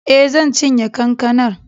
E, zan cinye kankanar.